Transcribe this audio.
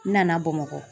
N nana bamakɔ